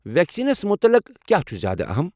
Vaccines مُتعلق کیٚا چُھ زیادٕ اہم؟